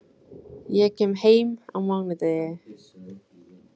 Ég kem heim á mánudegi.